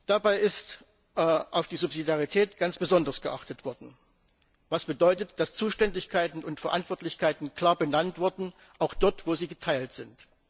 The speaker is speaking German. Dabei ist auf die Subsidiarität ganz besonders geachtet worden, was bedeutet, dass Zuständigkeiten und Verantwortlichkeiten klar benannt wurden, auch dort, wo sie geteilt sind.